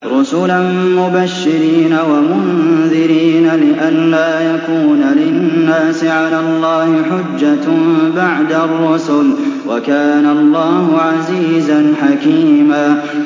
رُّسُلًا مُّبَشِّرِينَ وَمُنذِرِينَ لِئَلَّا يَكُونَ لِلنَّاسِ عَلَى اللَّهِ حُجَّةٌ بَعْدَ الرُّسُلِ ۚ وَكَانَ اللَّهُ عَزِيزًا حَكِيمًا